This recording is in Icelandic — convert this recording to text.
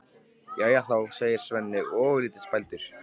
Jæja þá, segir Svenni ofurlítið spældur.